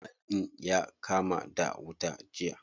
Mall ɗin ya kama da wuta jiya.